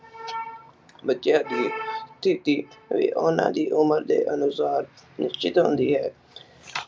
ਸਥਿਤੀ ਵੀ ਓਹਨਾ ਦੀ ਉਮਰ ਦੇ ਅਨੁਸਾਰ ਨਿਸ਼ਚਿਤ ਹੁੰਦੀ ਹੈ।